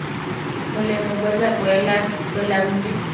molemo bo tla bolelela balaodi